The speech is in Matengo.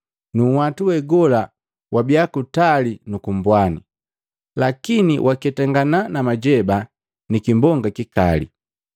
nu nhwatu wegola wabia kutali nuku mbwani, lakini waketangana na majeba ni kimbonga kikali.